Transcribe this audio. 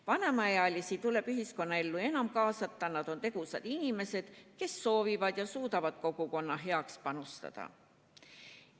Vanemaealisi tuleb ühiskonnaellu enam kaasata, nad on tegusad inimesed, kes soovivad ja suudavad kogukonna heaks panustada.